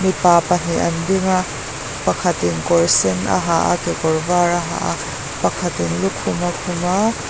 mipa pahnih an ding a pakhatin kawr sen a ha a kekawr var a ha a pakhatin lukhum a khum a.